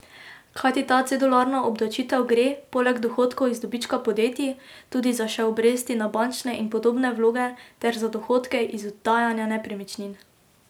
Kajti ta cedularna obdavčitev gre, poleg dohodkov iz dobička podjetij, tudi za še obresti na bančne in podobne vloge ter za dohodke iz oddajanja nepremičnin.